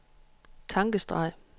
tankestreg